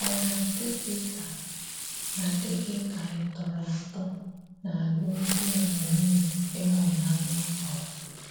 Ọ̀ na-adí́ gị ka na-adí́ gị ka ị́ tọrọ̀ atọ n’álụ́mdi na nwunye, ịhụ́nanya kọrọ?